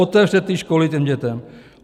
Otevřete ty školy těm dětem.